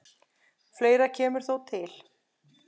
Fleira kemur þó til.